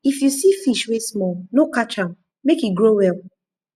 if you see fish wey small no catch am make e grow well